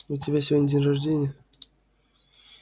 у тебя сегодня день рождения